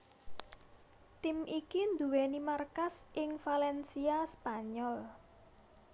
Tim iki nduwèni markas ing Valencia Spanyol